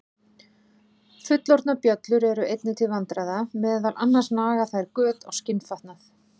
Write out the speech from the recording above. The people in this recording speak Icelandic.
Fullorðnar bjöllur eru einnig til vandræða, meðal annars naga þær göt á skinnfatnað.